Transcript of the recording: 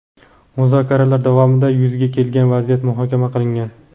Muzokaralar davomida yuzaga kelgan vaziyat muhokama qilingan.